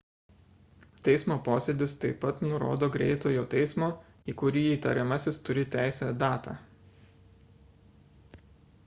teismo posėdis taip pat nurodo greitojo teismo į kurį įtariamasis turi teisę datą